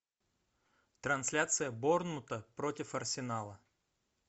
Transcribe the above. трансляция борнмута против арсенала